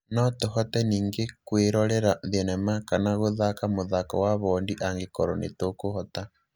No tũhote ningĩ kwĩrorera thenema kana gũthaka mũthako wa bondi angĩkorwo nĩ tũkũhota.